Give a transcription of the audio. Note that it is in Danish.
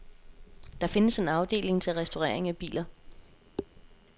Der findes en afdeling til restaurering af biler.